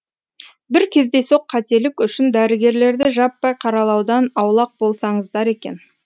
бір кездейсоқ қателік үшін дәрігерлерді жаппай қаралаудан аулақ болсаңыздар екен